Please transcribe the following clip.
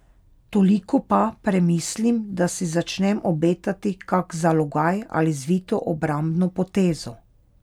Toliko pa premislim, da si začnem obetati kak zalogaj ali zvito obrambno potezo.